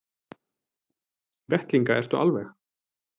Vettlinga, ertu alveg.